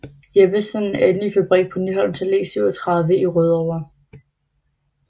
Jeppesen en ny fabrik på Nyholms Allé 37 i Rødovre